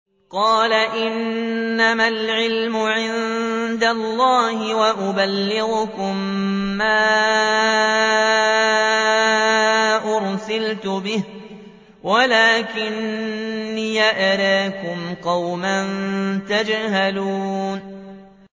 قَالَ إِنَّمَا الْعِلْمُ عِندَ اللَّهِ وَأُبَلِّغُكُم مَّا أُرْسِلْتُ بِهِ وَلَٰكِنِّي أَرَاكُمْ قَوْمًا تَجْهَلُونَ